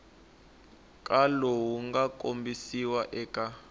ka lowu nga kombisiwa eka